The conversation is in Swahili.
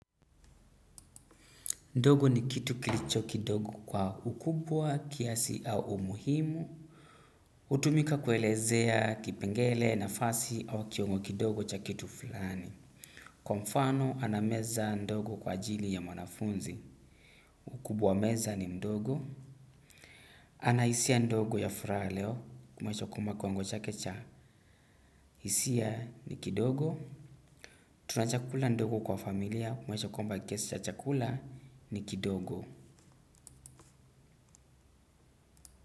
Ndogo ni kitu kilicho kidogo kwa ukubwa kiasi au umuhimu. Hutumika kuelezea kipengele nafasi au kiungo kidogo cha kitu fulani. Kwa mfano anameza ndogo kwa ajili ya mwanafunzi. Ukubwa wa meza ni mdogo. Ana hisia ndogo ya furaha leo kumaanisha kwamba kiwango chake cha. Hisia ni kidogo. Tuna chakula ndogo kwa familia kumwonyesha kwamba kiasi cha chakula ni kidogo.